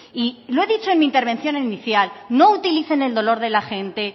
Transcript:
y lo he dicho en mi intervención inicial no utilicen el dolor de la gente